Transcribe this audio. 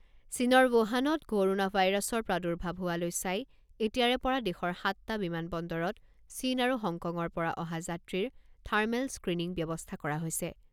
চীনৰ ৱুহানত কৰোনা ভাইৰাছৰ প্ৰাদুৰ্ভাৱ হোৱালৈ চাই এতিয়াৰে পৰা দেশৰ সাতটা বিমান বন্দৰত চীন আৰু হংকঙৰ পৰা অহা যাত্ৰীৰ থাৰ্মেল স্ক্ৰিনিং ব্যৱস্থা কৰা হৈছে।